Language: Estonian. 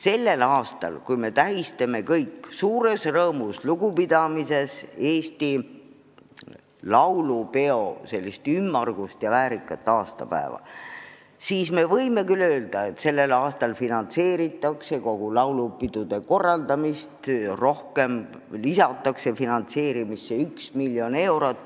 Tänavu me tähistame kõik suures rõõmus-lugupidamises Eesti laulupeo ümmargust ja väärikat aastapäeva ja võime küll öelda, et sellel aastal finantseeritakse kogu laulupidude korraldamist rohkem, lisatakse finantsidele üks miljon eurot.